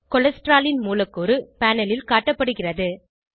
cholesterol ன் மூலக்கூறு panel ல் காட்டப்படுகிறது